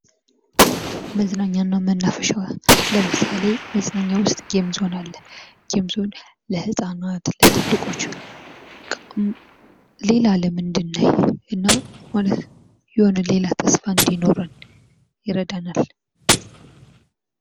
መዝናኛ እና መናፈሻ ለምሳሌ መዝናኛ ዉስጥ ጌም ዞን አለ። ጌም ዞን ለህፃናት ለትልቆች ሌላ አለም እንድናይ እና የሆነ ሌላ ተስፋ እንዲኖረን ይረዳናል።